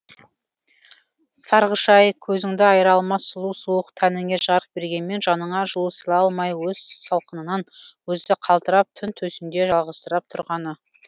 сарғыш ай көзіңді айыра алмас сұлу суық тәніңе жарық бергенмен жаныңа жылу сыйлай алмай өз салқынынан өзі қалтырап түн төсінде жалғызсырап тұрғаны